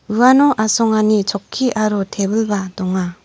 uano asongani chokki aro tebilba donga.